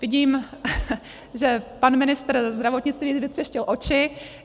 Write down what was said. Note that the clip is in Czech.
Vidím, že pan ministr zdravotnictví vytřeštil oči.